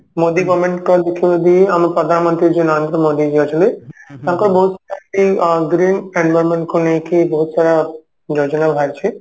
Modi government ଙ୍କର କିଛି ଯଦି ଆମ ପ୍ରଧାନ ମନ୍ତ୍ରୀ ଯଉ ନରେନ୍ଦ୍ର ମୋଦୀ ଯଉ ଅଛନ୍ତି ତାଙ୍କ green environment କୁ ନେଇକି ବହୁତ ସାରା ଯୋଜୋନା ବାହାରିଛି